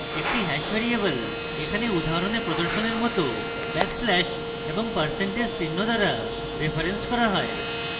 একটি hash variable এখানে উদাহরণে প্রদর্শনের মত ব্যাকস্ল্যাশ এবং পার্সেন্টেজ % চিহ্ন দ্বারা referenced করা হয়